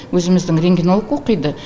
өзіміздің рентгенолог оқиды